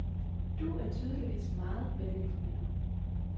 Du er tydeligvis meget velinformeret.